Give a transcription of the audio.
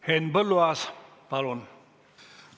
Henn Põlluaas, palun!